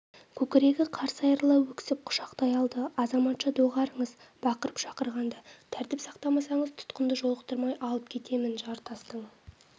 көкірегі қарс айырыла өксіп құшақтай алды азаматша доғарыңыз бақырып-шақырғанды тәртіп сақтамасаңыз тұтқынды жолықтырмай алып кетемін жартастың